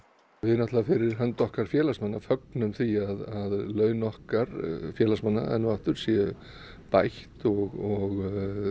við náttúrlega fyrir hönd okkar félagsmanna fögnum því að laun okkar félagsmanna séu bætt og